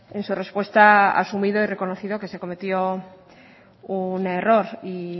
en su respuesta asumido y reconocido que se cometió un error y